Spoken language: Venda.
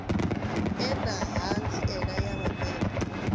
ḓe na ṱhanziela ya mabebo